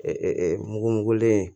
mugu mugulen